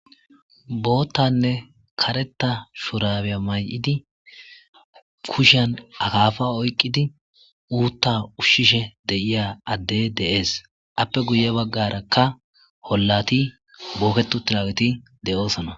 boottanne kareta shurabeya may7idi kushan akaafa oyqqidi uutta ushshishe de7iya adde de7ees appe guye baggarakka hollati booketu tilaweti de7oosona